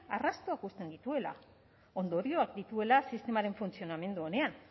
arrastoak uzten dituela ondorioak dituela sistemaren funtzionamendu onean